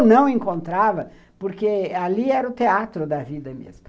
Ou não encontrava, porque ali era o teatro da vida mesmo.